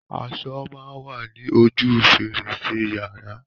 Aṣo máa wa ní ojú fèrèsé yàrá.